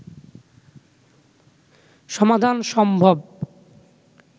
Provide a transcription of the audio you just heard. সমাধান সম্ভব